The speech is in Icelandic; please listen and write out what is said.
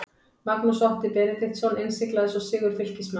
Magnús Otti Benediktsson innsiglaði svo sigur Fylkismanna.